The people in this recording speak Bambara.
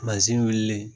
wulilen